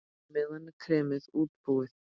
Á meðan er kremið útbúið.